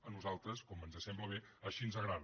a nosaltres com ens sembla bé així ens agrada